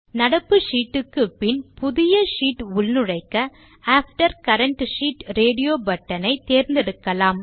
நடப்பு ஷீட் க்கு பின் புதிய ஷீட் உள்நுழைக்க after current sheet radio button ஐ தேர்ந்தெடுக்கலாம்